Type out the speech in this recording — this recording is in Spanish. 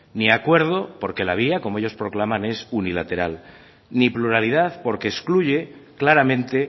ni acuerdo porque la vía como ellos proclaman es unilateral ni pluralidad porque excluye claramente